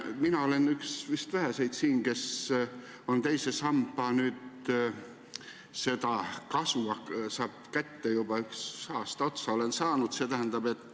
Mina olen siin vist üks väheseid, kes teise samba kasu ka kätte saab – juba aasta otsa olen saanud.